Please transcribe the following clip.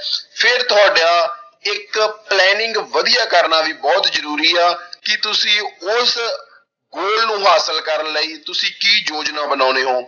ਫਿਰ ਤੁਹਾਡਾ ਇੱਕ planning ਵਧੀਆ ਕਰਨਾ ਵੀ ਬਹੁਤ ਜ਼ਰੂਰੀ ਆ ਕਿ ਤੁਸੀਂ ਉਸ goal ਨੂੰ ਹਾਸਿਲ ਕਰਨ ਲਈ ਤੁਸੀਂ ਕੀ ਯੋਜਨਾ ਬਣਾਉਂਦੇ ਹੋ।